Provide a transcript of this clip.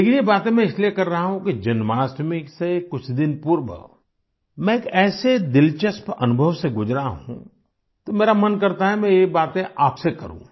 लेकिन ये बातें मैं इसलिए कर रहा हूँ कि जन्माष्टमी से कुछ दिन पूर्व मैं एक ऐसे दिलचस्प अनुभव से गुजरा हूँ तो मेरा मन करता है ये बातें मैं आपसे करूँ